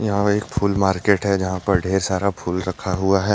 यहां एक फूल मार्केट है जहां पर ढेर सारा फुल रखा हुआ है।